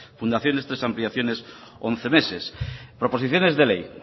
fundaciones tres ampliaciones once meses proposiciones de ley